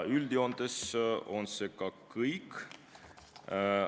Üldjoontes on see kõik.